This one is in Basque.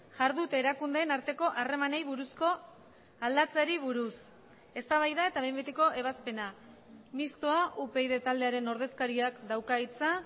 jardute erakundeen arteko harremanei buruzko aldatzeari buruz eztabaida eta behin betiko ebazpena mistoa upyd taldearen ordezkariak dauka hitza